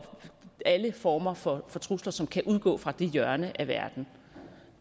alle former for trusler som kan udgå fra det hjørne af verden